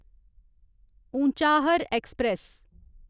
Unchahar express